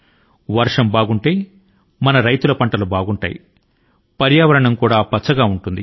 వర్షాలు బాగా ఉంటే మన రైతు లు అద్భుతమైన దిగుబడి ని పొందుతారు మరి ప్రకృతి కూడాను పచ్చ గా ఉంటుంది